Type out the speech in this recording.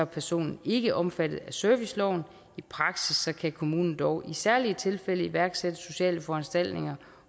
personen ikke omfattet af serviceloven i praksis kan kommunen dog i særlige tilfælde iværksætte sociale foranstaltninger